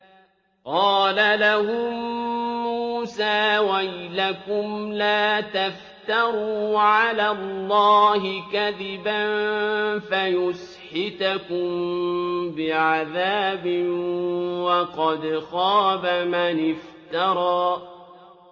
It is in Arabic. قَالَ لَهُم مُّوسَىٰ وَيْلَكُمْ لَا تَفْتَرُوا عَلَى اللَّهِ كَذِبًا فَيُسْحِتَكُم بِعَذَابٍ ۖ وَقَدْ خَابَ مَنِ افْتَرَىٰ